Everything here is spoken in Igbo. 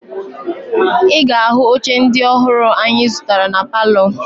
Ị ga-ahụ oche ndị ọhụrụ anyị zụtara na palọ